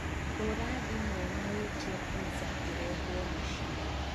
hūra thimu na wītie pizza īrehwo muciī